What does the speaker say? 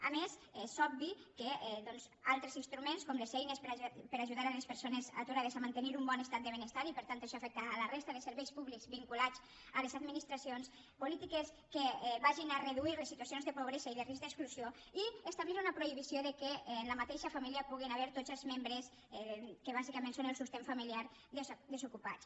a més és obvi que doncs altres instruments com les eines per ajudar les persones aturades a mantenir un bon estat de benestar i per tant això afecta la resta de serveis públics vinculats a les administracions polítiques que vagin a reduir les situacions de pobresa i de risc d’exclusió i establir una prohibició que en la mateixa família hi puguin haver tots els membres que bàsicament són la sustentació familiar desocupats